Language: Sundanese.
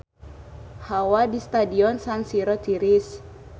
Hawa di Stadion San Siro tiris